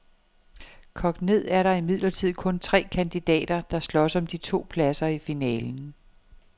Kogt ned er der imidlertid kun tre kandidater, der slås om de to pladser i finalen.